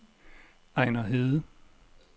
Ejner Hede